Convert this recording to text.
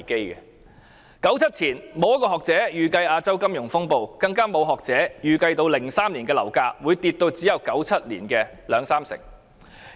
1997年前，沒有學者可以預計亞洲金融風暴，更沒有學者可以預計2003年樓價會下跌至只有1997年的兩三成。